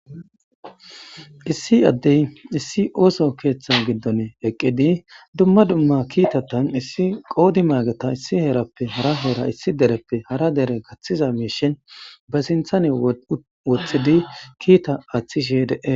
Issi addey issi ossa kethan eqqiddi duuma dummakittatun issi qoddima issi herrappe harra herra issi derreppe harra derrey kathizza mishe basinthan ehi wothidi kitta athishe dees